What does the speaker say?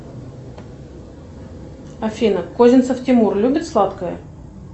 афина козинцев тимур любит сладкое